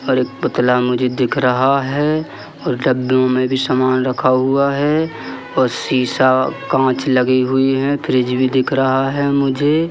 और एक पुतला मुझे दिख रहा है और डब्बों में भी सामान रखा हुआ है और शीशा कांच लगी हुई है फ्रिज भी दिख रहा है मुझे।